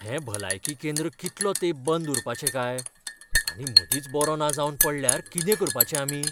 हें भलायकी केंद्र कितलो तेंप बंद उरपाचें काय? आनी मदींच बरों ना जावन पडल्यार कितें करपाचें आमी?